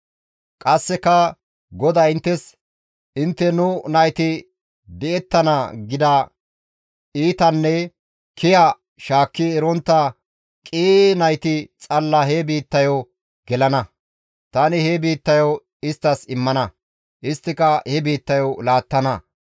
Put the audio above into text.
«Qasseka GODAY inttes, ‹Intte nu nayti di7ettana› gida iitanne kiya shaakki erontta qii nayti xalla he biittayo gelana; tani he biittayo isttas immana; isttika he biittayo laattana.